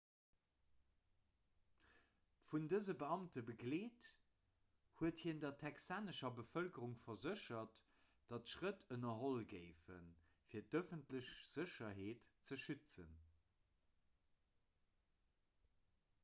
vun dëse beamte begleet huet hien der texanescher bevëlkerung verséchert datt schrëtt ënnerholl géifen fir d'ëffentlech sécherheet ze schützen